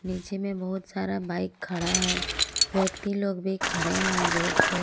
पीछे में बहोत सारा बाइक खड़ा है व्यक्ति लोग भी खड़े हैं रोड पे।